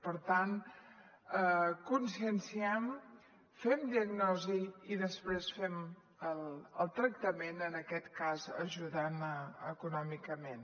per tant conscienciem fem diagnosi i després fem el tractament en aquest cas ajudant econòmicament